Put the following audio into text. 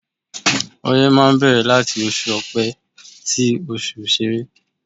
Oye máa ń bẹ̀rẹ̀ láti oṣù Ọpẹ sí oṣù sere.